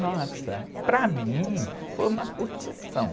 Nossa, para mim foi uma curtição.